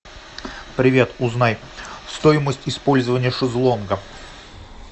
привет узнай стоимость использования шезлонга